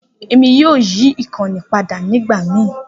Emi yoo yi ikanni pada nigbamii.